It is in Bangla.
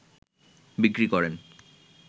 বিক্রি করেন